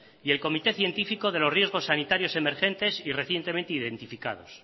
y el comité científico de los riesgos sanitarios emergentes y recientemente identificados